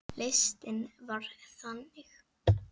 Listinn var þannig